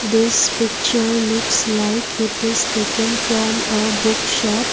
this picture looks like it is taken from a book shop.